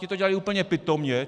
Ti to dělali úplně pitomě.